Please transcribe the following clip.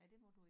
Ej det må du ik